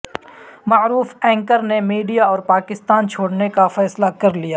معروف اینکر نے میڈیا اور پاکستان چھوڑنے کا فیصلہ کرلیا